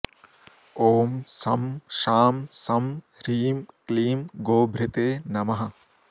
ॐ शं शां षं ह्रीं क्लीं गोभृते नमः